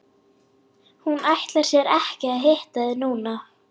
Hún ætlar sér ekki að hitta þig núna.